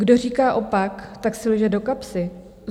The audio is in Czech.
Kdo říká opak, tak si lže do kapsy.